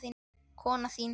Konan þín?